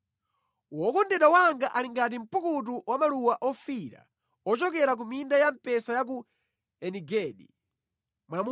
Wokondedwa wanga ali ngati mpukutu wa maluwa ofiira, ochokera ku minda ya mpesa ya ku Eni-Gedi.